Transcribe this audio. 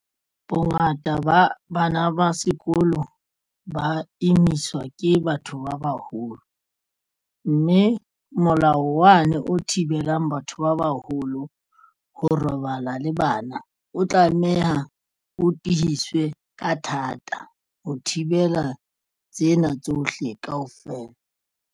Bongata ba bana ba sekolo ba imiswa ke batho ba baholo, mme molao wane o thibelang batho ba bang haholo ho robala le bana o tlameha o tiiswe ka thata ho thibela tsena tsohle kaofela.